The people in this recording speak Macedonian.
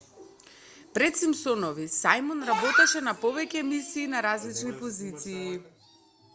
пред симпсонови сајмон работеше на повеќе емисии на различни позиции